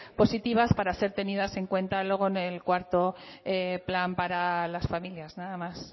positivas para ser tenidas en cuentas luego en el cuarto plan para las familias nada más